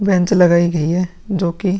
bench लगाई गई है जो कि --